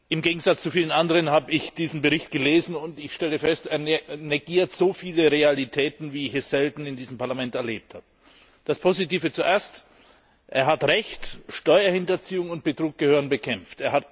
Im Gegensatz zu vielen anderen habe ich diesen Bericht gelesen und ich stelle fest, er negiert so viele Realitäten, wie ich es selten in diesem Parlament erlebt habe. Das Positive zuerst Der Berichterstatter hat Recht, Steuerhinterziehung und Betrug gehören bekämpft.